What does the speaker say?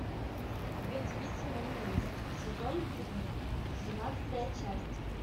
две девицы на мели сезон три двенадцатая часть